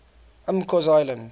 mccausland